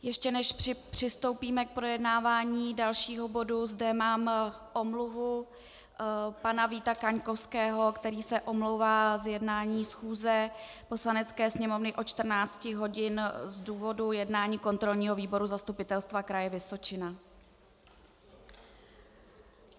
Ještě než přistoupíme k projednávání dalšího bodu, mám zde omluvu pana Víta Kaňkovského, který se omlouvá z jednání schůze Poslanecké sněmovny od 14 hodin z důvodu jednání kontrolního výboru Zastupitelstva kraje Vysočina.